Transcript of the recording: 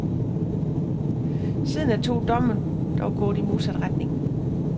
Siden er to domme dog gået i modsat retning.